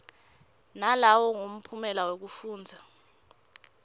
nalowo mphumela wekufundza